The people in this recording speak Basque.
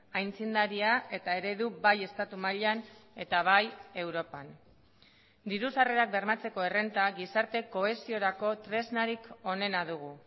aitzindaria eta eredu bai estatu mailan eta bai europan diru sarrerak bermatzeko errenta gizarte kohesiorako tresnarik onena dugu